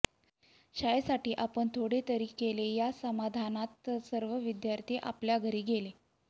शाळेसाठी आपण थोडेतरी केले या समाधानात सर्व विद्यार्थी आपल्या घरी गेले